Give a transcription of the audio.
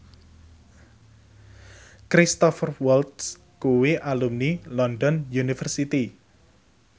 Cristhoper Waltz kuwi alumni London University